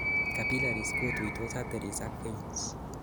capillaries kotuitos arteries ak veins